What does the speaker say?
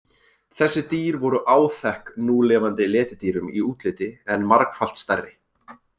Þessi dýr voru áþekk núlifandi letidýrum í útliti en margfalt stærri.